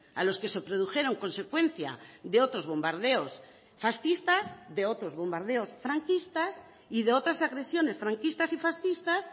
a los que se produjeron consecuencia de otros bombardeos fascistas de otros bombardeos franquistas y de otras agresiones franquistas y fascistas